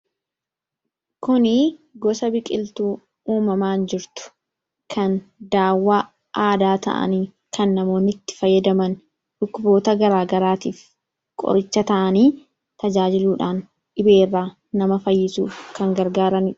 Kuni goosa biqiltu uumamaan jirtuu kan dawaa aadaa ta'aan kan namooni itti faayadaam dhukkuboota gara garaattif qorichaa ta'ani tajajiiluudhan dhibee irra nama faayisuudha.